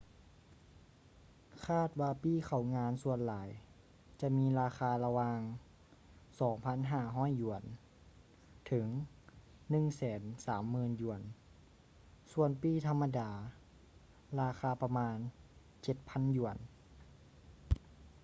ຄາດວ່າປີ້ເຂົ້າງານສ່ວນຫຼາຍຈະມີລາຄາລະຫວ່າງ ¥2,500 ເຖິງ ¥130,000 ສ່ວນປີ້ທຳມະດາລາຄາປະມານ ¥7,000